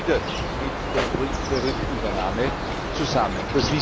Das hängt wieder mit den Gründen der Rückübernahme zusammen.